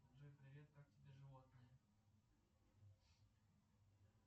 джой привет как тебе животные